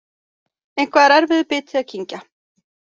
Eitthvað er erfiður biti að kyngja